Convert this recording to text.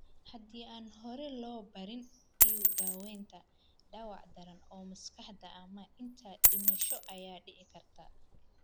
Haddii aan hore loo baarin iyo daawaynta, dhaawac daran oo maskaxda ah ama xitaa dhimasho ayaa dhici karta.